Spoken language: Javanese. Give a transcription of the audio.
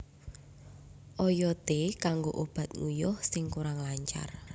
Oyode kanggo obat nguyuh sing kurang lancar